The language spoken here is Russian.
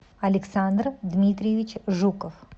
александр дмитриевич жуков